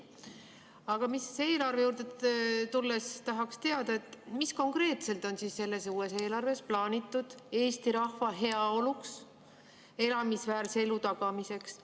Aga eelarve juurde tulles tahaks teada, mis konkreetselt on selles uues eelarves plaanitud Eesti rahva heaoluks, elamisväärse elu tagamiseks.